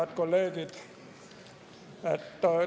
Head kolleegid!